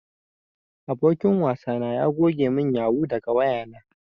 Abokin wasa na ya goge mun yahoo daga wayana.